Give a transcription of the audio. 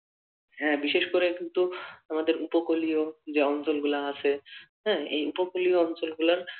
হ্যাঁ বিশেষ করে কিন্তু আমাদের উপকূলীয় যে অঞ্চল গুলো আছে হ্যাঁ এই উপকূলীয় অঞ্চল গুলার